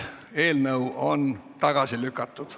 Eelnõu on tagasi lükatud.